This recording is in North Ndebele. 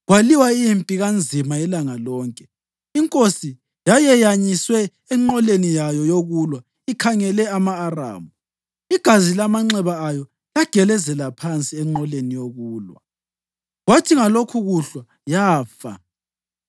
Kwalwiwa impi kanzima ilanga lonke. Inkosi yayeyanyiswe enqoleni yayo yokulwa ikhangele ama-Aramu. Igazi lamanxeba ayo lagelezela phansi enqoleni yokulwa, kwathi Ngalokhokuhlwa yafa.